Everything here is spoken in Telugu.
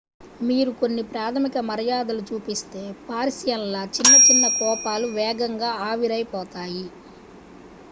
మీరు కొన్ని ప్రాథమిక మర్యాదలు చూపిస్తే పారిసియన్ల చిన్న చిన్న కోపాలు వేగంగా ఆవిరైపోతాయి